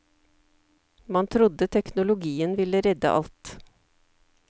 Man trodde teknologien ville redde alt.